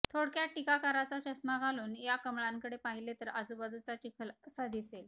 थोडक्यात टीकाकाराचा चष्मा घालून या कमळांकडे पाहिलं तर आजूबाजूचा चिखल असा दिसेल